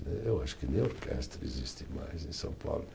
Eu acho que nem a orquestra existe mais em São Paulo.